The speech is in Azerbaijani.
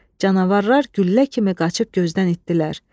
Canavarlar güllə kimi qaçıb gözdən itdirlər.